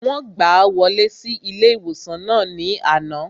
Wọ́n gbàá wọlé sí ilé-ìwòsàn náà ní àná